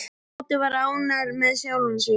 Tóti var ánægður með sjálfan sig.